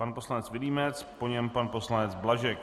Pan poslanec Vilímec, po něm pan poslanec Blažek.